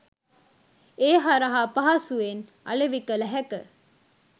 ඒ හරහා පහසුවෙන් අලෙවි කළ හැක